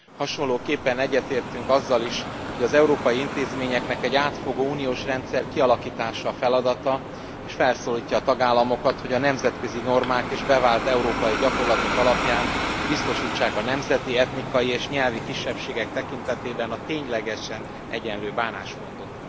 Hasonlóképpen egyetértünk azzal is, hogy az európai intézményeknek átfogó uniós rendszer kialakítása a feladata, és felszólítjuk a tagállamokat, hogy a nemzetközi normák és bevált európai gyakorlatok alapján biztosítsák a nemzeti, etnikai és nyelvi kisebbségek tekintetében a ténylegesen egyenlő bánásmódot.